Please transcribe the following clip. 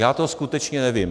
Já to skutečně nevím.